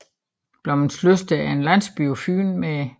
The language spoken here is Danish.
Blommenslyst er en landsby på Fyn med